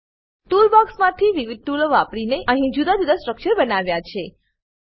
tool બોક્સમાં થી વિવિધ ટૂલો વાપરીને અહી જુદા જુદા સ્ટ્રક્ચર બનાવ્યા છે